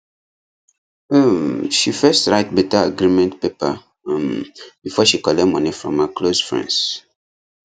um she first write better agreement paper um before she collect money from her close friends